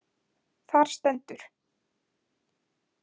Þar stendur:.